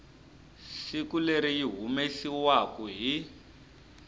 siku leri yi humesiwaku hi